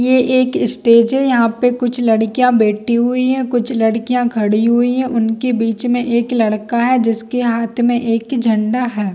ये एक स्टेज है यहाँ पे कुछ लड़किया बैठी हुई है कुछ लड़किया खड़ी हुई है उनके बिच में एक लड़का है जिसके हाथ में एक झंडा है।